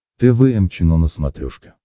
тэ вэ эм чено на смотрешке